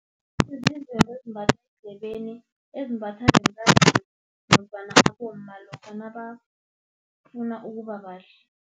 ezimbathwa eendlebeni, ezimbathwa bentazana nofana abomma lokha nabafuna ukuba bahle.